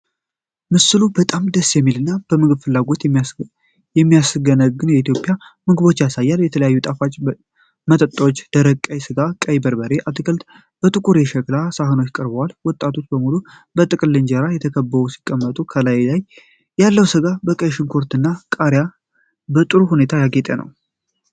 ምስሉ በጣም ደስ የሚል እና የምግብ ፍላጎት የሚያስገነግን የኢትዮጵያ ምግቦችን ያሳያል። የተለያዩ ጣፋጭ ወጦች (ደረቅ ቀይ ሥጋ፣ ቀይ በርበሬና አትክልቶች)በጥቁር የሸክላ ሳህኖች ቀርበዋል። ወጦቹ በሙሉ በጥቅልል እንጀራዎች ተከበው ሲቀመጡ፣ ከላይ ያለው ሥጋ በቀይ ሽንኩርትና ቃሪያ በጥሩ ሁኔታ ያጌጠ ነው።